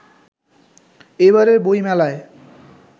এবারে বই মেলায়